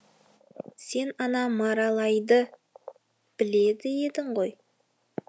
сен ана маралайды білетін едің ғой